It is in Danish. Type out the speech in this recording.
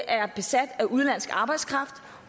er besat af udenlandsk arbejdskraft